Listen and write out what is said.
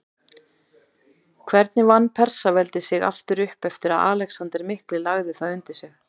Hvernig vann Persaveldi sig upp aftur eftir að Alexander mikli lagði það undir sig?